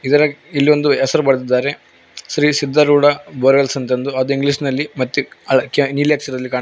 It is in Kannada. ಇದರಗ್ ಇಲ್ಲಿ ಒಂದು ಹೆಸರ್ ಬರ್ದಿದಾರೆ ಶ್ರೀ ಸಿದ್ಧಾರೂಢ ಬೋರ್ ವೇಲ್ಸ್ ಅಂತ ಅಂದು ಇಂಗ್ಲೀಷ್ ನಲ್ಲಿ ಮತ್ತಿ ಅಳ ಕೇಳ ನೀಲಿ ಅಕ್ಷರದಲ್ಲಿ ಕಾಣ್ತಾ--